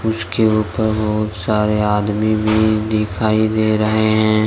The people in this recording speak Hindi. इसके ऊपर बहोत सारे आदमी भी दिखाई दे रहे हैं।